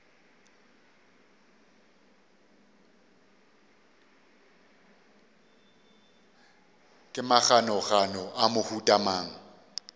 ke maganogano a mohuta mang